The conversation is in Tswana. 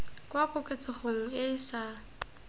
kwa koketsegong e e sa